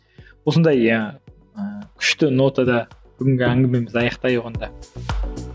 осындай ыыы күшті нотада бүгінгі әңгімемізді аяқтайық онда